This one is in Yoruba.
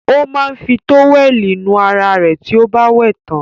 Ó máa ń fi tówẹ́lì nu ara rẹ̀ tí ó bá wẹ̀ tán.